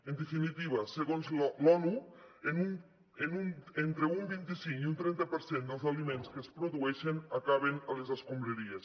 en definitiva segons l’onu entre un vint cinc i un trenta per cent dels aliments que es produeixen acaben a les escombraries